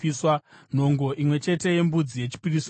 nhongo imwe chete yembudzi yechipiriso chechivi;